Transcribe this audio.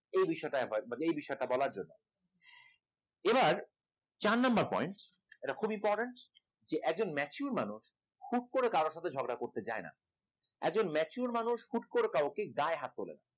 এই বিষয়টা একবার এই বিষয়টা বলার জন্য এবার চার number point এটা খুব important যে একজন mature মানুষ হুট করে কারো সঙ্গে ঝগড়া করতে চায় না একজন mature মানুষ হুট করে কাউকে গায়ে হাত তোলে না